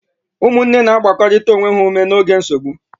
Ụmụnne na-agbakọrịta onwe ha ume n'oge nsogbu.